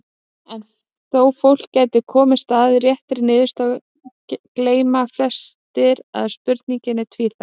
En þó fólk gæti komist að réttri niðurstöðu þá gleyma flestir að spurningin er tvíþætt.